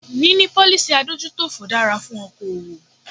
Níní policy adójútòfò dára fún okoòwò.